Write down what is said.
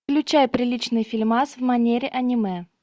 включай приличный фильмас в манере аниме